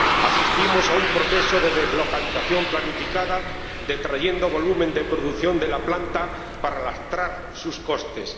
Asistimos a un proceso de deslocalización planificada detrayendo volumen de producción de la planta para lastrar sus costes.